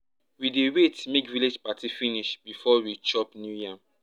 we dey wait make village party finish before we chop new yam